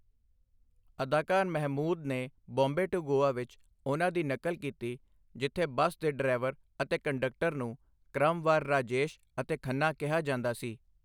ਅਦਾਕਾਰ ਮਹਿਮੂਦ ਨੇ 'ਬੰਬੇ ਟੂ ਗੋਆ' ਵਿੱਚ ਉਨ੍ਹਾਂ ਦੀ ਨਕਲ ਕੀਤੀ ਜਿੱਥੇ ਬੱਸ ਦੇ ਡਰਾਈਵਰ ਅਤੇ ਕੰਡਕਟਰ ਨੂੰ ਕ੍ਰਮਵਾਰ 'ਰਾਜੇਸ਼' ਅਤੇ 'ਖੰਨਾ' ਕਿਹਾ ਜਾਂਦਾ ਸੀ।